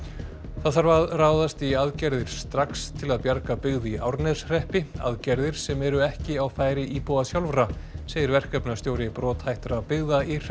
það þarf að ráðast í aðgerðir strax til að bjarga byggð í Árneshreppi aðgerðir sem eru ekki á færi íbúa sjálfra segir verkefnastjóri brothættra byggða í